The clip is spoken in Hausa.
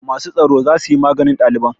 Masu tsaro za su yi maganin ɗaliban.